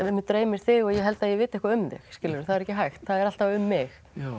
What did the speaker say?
mig dreymir þig og ég held að ég viti eitthvað um þig það er ekki hægt það er alltaf um mig